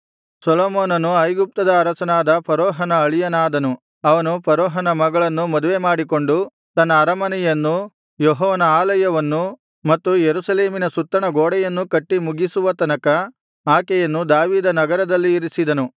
ಸೊಲೊಮೋನನು ಐಗುಪ್ತದ ಅರಸನಾದ ಫರೋಹನ ಅಳಿಯನಾದನು ಅವನು ಫರೋಹನ ಮಗಳನ್ನು ಮದುವೆಮಾಡಿಕೊಂಡು ತನ್ನ ಅರಮನೆಯನ್ನೂ ಯೆಹೋವನ ಆಲಯವನ್ನೂ ಮತ್ತು ಯೆರೂಸಲೇಮಿನ ಸುತ್ತಣ ಗೋಡೆಯನ್ನೂ ಕಟ್ಟಿ ಮುಗಿಸುವ ತನಕ ಆಕೆಯನ್ನು ದಾವೀದನಗರದಲ್ಲಿ ಇರಿಸಿದನು